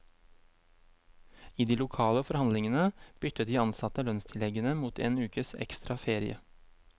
I de lokale forhandlingene byttet de ansatte lønnstilleggene mot en ukes ekstra ferie.